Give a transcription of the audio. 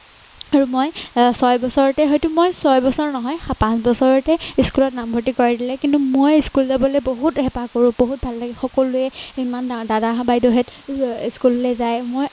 আৰু মই ছয় বছৰতে হয়তো মই ছয় বছৰ নহয় পাঁচ বছৰতে school ত নামভৰ্ত্তি কৰাই দিলে কিন্তু মই school যাবলে বহুত হেঁপাহ কৰো বহুত ভাল লাগে সকলোৱে ইমান দাদা বাইদেউহেত school লে যায় মই